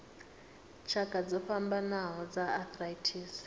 tshakha dzo fhambanaho dza arthritis